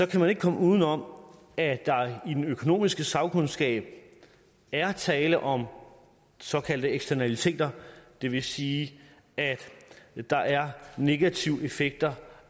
kan man ikke komme uden om at der i den økonomiske sagkundskab er tale om såkaldte eksternaliteter det vil sige at der er negative effekter